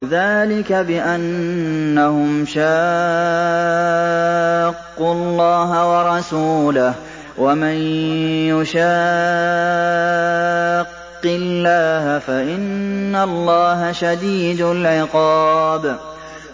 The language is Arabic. ذَٰلِكَ بِأَنَّهُمْ شَاقُّوا اللَّهَ وَرَسُولَهُ ۖ وَمَن يُشَاقِّ اللَّهَ فَإِنَّ اللَّهَ شَدِيدُ الْعِقَابِ